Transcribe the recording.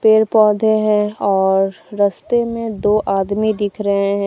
पेड़ पौधे हैं और रस्ते में दो आदमी दिख रहे हैं।